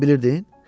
Sən bunu bilirdin?